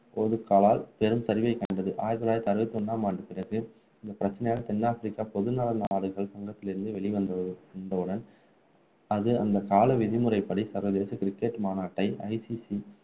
பெரும் சரிவை கண்டது ஆயிரத்து தொள்ளாயிரத்து அறுபத்து ஒண்ணாம் ஆண்டுக்குப்பிறகு இந்தப்பிரச்சினையால் தென் ஆப்பிரிக்கா நல நாடுகள் சங்கத்திலிருந்து வெளி வந்தது வந்தவுடன் அது அந்த கால விதி முறைப்படி சர்வதேச cricket மாநாட்டை